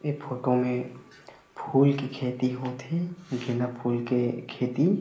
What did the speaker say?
ऐ फोटो में फ़ूल के खेती होथे गेंदा फुल के खेती --